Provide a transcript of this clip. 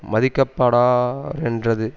மதிக்கப்படாரென்றது